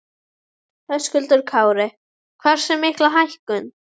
Höskuldur Kári: Hversu mikla hækkun?